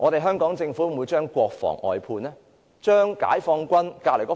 香港政府會否將國防外判呢？